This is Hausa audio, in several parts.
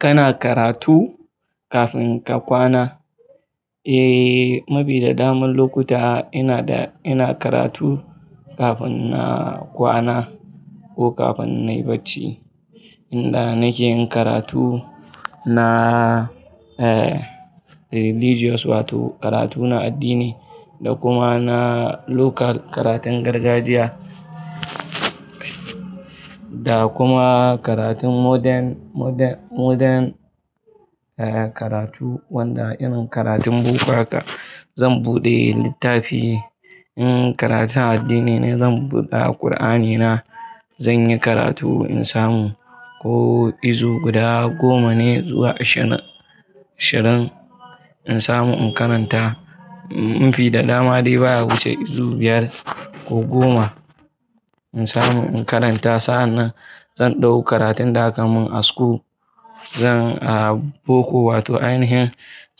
Kana karatu kafin ka kwana? Eh, mubi da daman lokuta ina da, ina karatu kafin na kwana ko kafin nayi bacci. Inda nake yin karatu na religious wato karatuna addini da kuma na local karatun gargajiya da kuma karatun modern, modern, modern karatu wanda irin karatun boko haka zan buɗe littafi. In karatun addini ne zan buɗe Alqur'ani na zan yi karatu in samu ko izu guda goma ne zuwa ashirin, ashirin in samu in karanta. In fi da dama dai ba wuce izu biyar ko goma in samu in karanta. Sa'an nan zan ɗauki karatun da aka mun a school zan boko wato anihin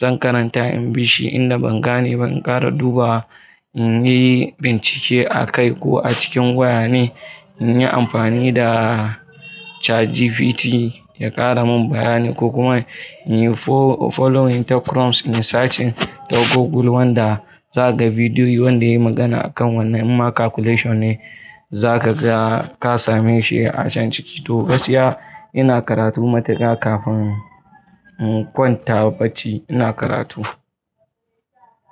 zan karanta in bishi inda ban gane ban kara duba in yi bincike a kai ko a cikin waya ne in yi amfani da ChatGPT ya ƙara mun bayanai ko kuma in yi following ta Chrome in searching ta Google wanda za ka ga bidiyo wanda ya yi magana a kan wannan ma calculation ne za ka ga ka same shi a can ciki. To, gaskiya ina karatu matuka kafin in kwanta bacci ina karatu.